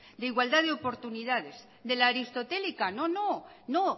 de igualdad de oportunidades de la aristotélica no no no